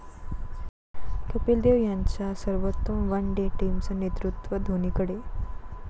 कपिल देव यांच्या सर्वोत्तम one day टीमचं नेतृत्व धोणीकडे